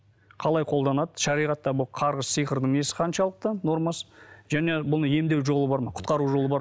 қалай қолданады шариғатта бұл қарғыс сиқырдың несі қаншалықты нормасы және бұны емдеу жолы бар ма құтқару жолы бар